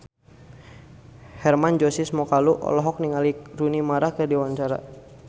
Hermann Josis Mokalu olohok ningali Rooney Mara keur diwawancara